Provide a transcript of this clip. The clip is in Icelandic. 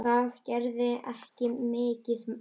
Það gerði ekki mikið til.